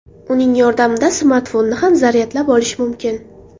Uning yordamida smartfonni ham zaryadlab olish mumkin.